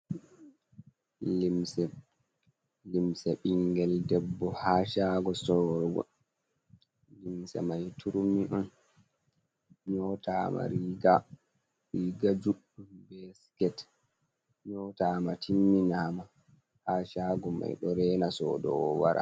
Limse. limse bingel ɗebbo ha sago sowrogo. Limse mai turummi on nyotama riga juɗɗum be siket. Nyotama timminama ha shago mai ɗo rena soɗowo wara.